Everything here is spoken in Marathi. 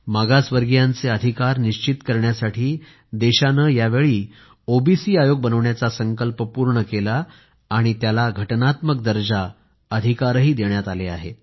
मागासवर्गीयांचे अधिकार निश्चित करण्यासाठी देशाने यावेळी ओबीसी आयोग बनवण्याचा संकल्प पूर्ण केला आणि त्याला घटनात्मक दर्जा अधिकारही देण्यात आले आहेत